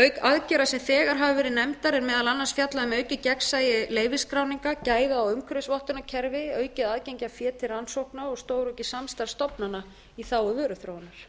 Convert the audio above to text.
auk aðgerða sem þegar hafa verið nefndar er meðal annars fjallað um aukið gegnsæi leyfisskráninga gæða og umhverfisvottunarkerfi aukið aðgengi að fé til rannsókna og stóraukið samstarf stofnana í þágu vöruþróunar